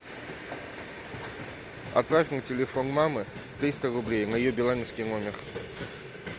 отправь на телефон мамы триста рублей на ее билайновский номер